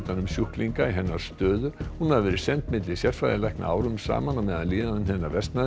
um sjúklinga í hennar stöðu hún hafi verið send milli sérfræðilækna árum saman á meðan líðan hennar versnaði